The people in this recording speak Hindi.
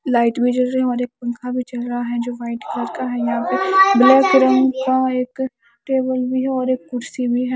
लाइट में जो जो हमारे एक पंखा भी चल रहा हैं जो की वाइट कलर का हे यहा पे ब्लैक रंग का एक टेबल भी हे एक कुर्सी भी हैं।